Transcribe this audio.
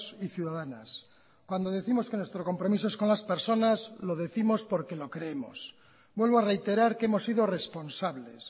y ciudadanas cuando décimos que nuestro compromiso es con las personas lo décimos porque lo creemos vuelvo a reiterar que hemos sido responsables